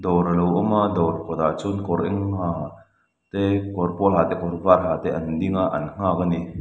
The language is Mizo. dawr a lo awm a dawr kawtah chuan kawr eng ha te kawr pawl ha te kawr var ha te an ding a an nghak a ni.